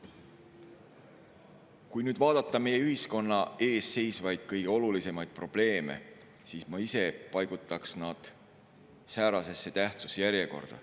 Kui nüüd vaadata meie ühiskonna ees seisvaid kõige olulisemaid probleeme, siis ma ise paigutaks nad säärasesse tähtsuse järjekorda.